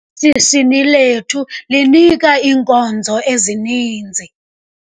Ishishini lethu linika iinkonzo ezininzi.